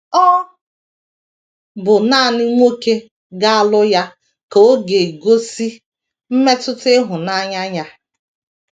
Ọ bụ nanị nwoke ga - alụ ya ka ọ ga - egosi mmetụta ịhụnanya ya.